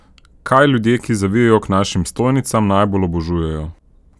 Kaj ljudje, ki zavijejo k našim stojnicam, najbolj obožujejo?